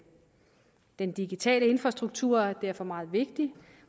den digitale infrastruktur er derfor meget vigtig